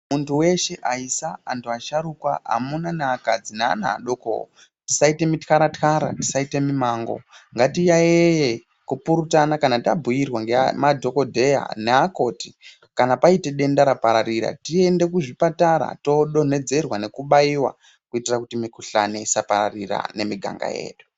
Muntu weshe , aisa, antu asharukwa ,amuna neakadzi neana adokowo tisaita muthyara-thyara, tisaita mumango . Ngatiyaiyei, kupurutana kana tabhuyirwa ngema dhokodheya neakoti kana paita denda rapararira tiende kuzvipatara toodonhedzerwa nekubaiwa kuitira kuti mukhuhlani isapararira nemiganga yedu.